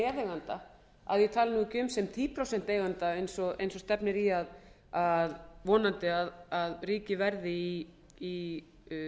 meðeiganda að ég tali ekki um sem tíu prósent eiganda eins og stefnir vonandi í að ríkið verði í